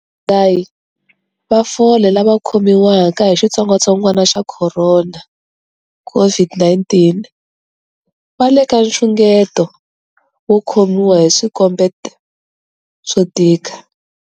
Vadzahi va fole lava khomiwaka hi xitsongwantsongwana xa corona, COVID-19, va le ka nxungeto wo khomiwa hi swikombeto swo tika.